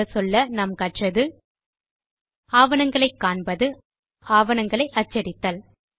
சுருங்கச்சொல்ல நாம் கற்றது ஆவணங்களை காண்பது ஆவணங்களை அச்சடித்தல்